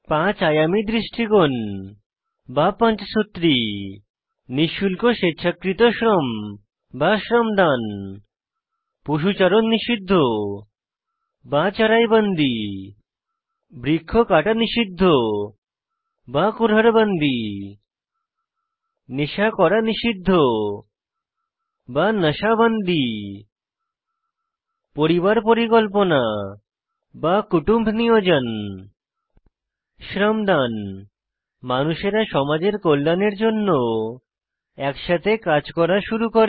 পাঁচ আযামী দৃষ্টিকোণ বা পঞ্চসূত্রী নিঃশুল্ক স্বেচ্ছাকৃত শ্রম বা শ্রমদান পশুচারণ নিষিদ্ধ বা চারাই বান্দি বৃক্ষ কাটা নিষিদ্ধ বা কুরহাদ বান্দি নেশা করা নিষিদ্ধ বা নাশা বান্দি পরিবার পরিকল্পনা বা কুটুম্ব নিয়োজন শ্রমদান মানুষেরা সমাজের কল্যাণের জন্য একসাথে কাজ করা শুরু করে